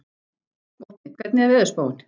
Vopni, hvernig er veðurspáin?